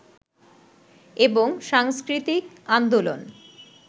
এবং সাংস্কৃতিক আন্দোলন